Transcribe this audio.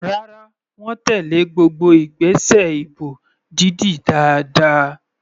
Rárá, wọ́n tèlé gbogbo ìgbésẹ̀ ìbò dídì dáadáa.